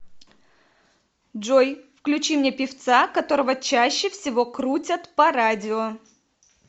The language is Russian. джой включи мне певца которого чаще всего крутят по радио